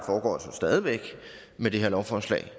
med det her lovforslag